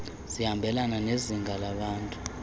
zihambelane nezinga labantu